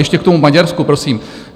Ještě k tomu Maďarsku prosím.